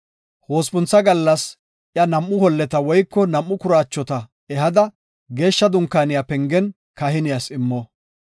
Hospuntha gallas iya nam7u holleta woyko nam7u kuraachota ehada Geeshsha Dunkaaniya pengen kahiniyas immo.